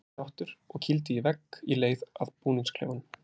Var ekki sáttur og kýldi í vegg í leið að búningsklefanum.